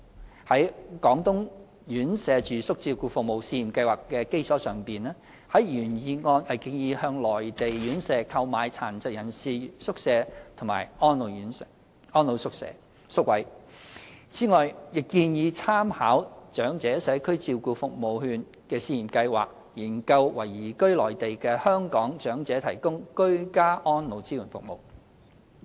原議案建議在"廣東院舍住宿照顧服務試驗計劃"的基礎上，向內地院舍購買殘疾人士宿位和安老宿位，此外，亦建議參考"長者社區照顧服務券試驗計劃"，研究為移居內地的香港長者提供居家安老支援服務。